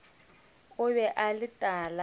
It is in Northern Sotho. o be a le tala